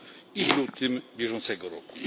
i w lutym bieżącego roku.